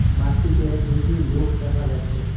মাঠটিতে দুইটি লোক দেখা যাচ্চে।